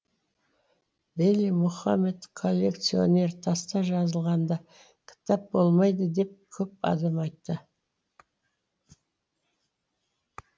вели мухаммед коллекционер таста жазылғанда кітап болмайды деп көп адам айтты